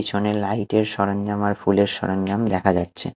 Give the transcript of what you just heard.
পিছনে লাইট -এর সরঞ্জাম আর ফুলের সরঞ্জাম দেখা যাচ্ছে।